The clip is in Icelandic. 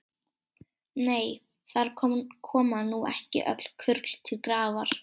Nei, þar koma nú ekki öll kurl til grafar.